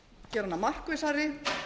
gera hana markvissari